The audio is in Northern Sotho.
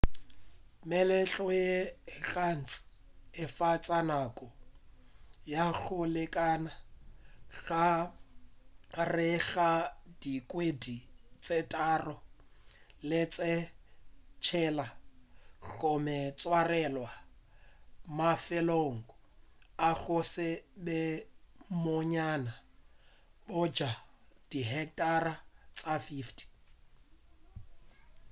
meletlo ye gantši e fetša nako ya go lekana gare ga dikgwedi tše tharo le tše tshela gomme e tswarelwa mafelong a go se be bonnyane bja di hectara tše 50